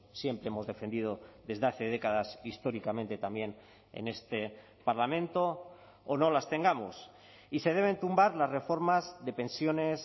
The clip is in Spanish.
siempre hemos defendido desde hace décadas históricamente también en este parlamento o no las tengamos y se deben tumbar las reformas de pensiones